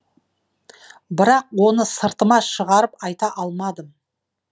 бірақ оны сыртыма шығарып айта алмадым